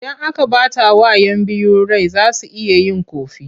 Idan aka ɓatawa 'yan biyu rai za su iya yin ƙofi.